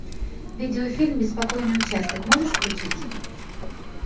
видеофильм беспокойный участок можешь включить